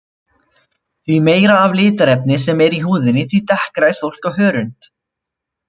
Því meira litarefni sem er í húðinni því dekkra er fólk á hörund.